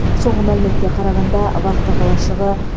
соңғы мәліметке қарағанда вахта қалашығы